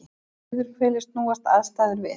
Á suðurhveli snúast aðstæður við.